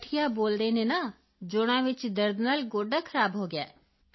ਓ ਗਠੀਆ ਬੋਲਦੇ ਨੇ ਨਾ ਜੋੜਾਂ ਵਿੱਚ ਦਰਦ ਨਾਲ ਗੋਡਾ ਖਰਾਬ ਹੋ ਗਿਆ